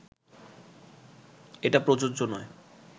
এটা প্রযোজ্য নয়